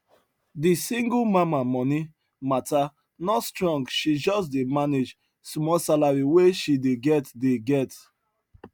de single mama moni matta no strong she just dey manage small salary wey she dey get dey get